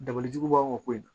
Dabɔli jugu b'anw ka ko in na